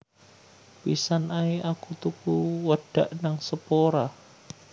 Pisan ae aku tuku wedak nang Sephora